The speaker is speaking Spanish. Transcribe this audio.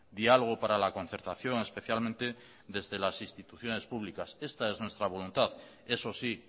diálogo para la concertación especialmente desde las instituciones públicas esta es nuestra voluntad eso sí